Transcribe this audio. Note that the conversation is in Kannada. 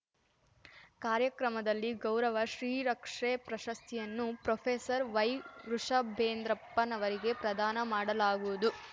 ಕಾರ್ಯಕ್ರಮದಲ್ಲಿ ಗೌರವ ಶ್ರೀರಕ್ಷೆ ಪ್ರಶಸ್ತಿಯನ್ನು ಪ್ರೊಫೆಸರ್ ವೈವೃಷಭೇಂದ್ರಪ್ಪ ನವರಿಗೆ ಪ್ರದಾನ ಮಾಡಲಾಗುವುದು